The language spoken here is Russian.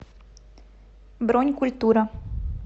бронь культура